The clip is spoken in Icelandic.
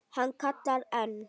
Hann kallar enn.